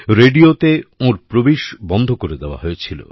রেডিওতে ওঁর প্রবেশই বন্ধ করে দেওয়া হয়েছিল